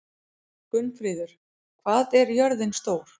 Gunnfríður, hvað er jörðin stór?